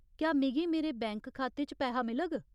क्या मिगी मेरे बैंक खाते च पैहा मिलग?